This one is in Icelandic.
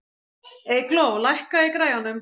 Eygló, lækkaðu í græjunum.